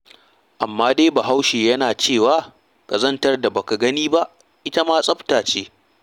Amma dai Bahaushe yana cewa, ƙazantar da ba ka gani ba ita ma tsafta ce.